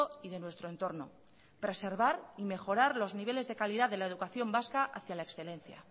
y de nuestro entorno preservar y mejorar los niveles de calidad de la educación vasca hacia la excelencia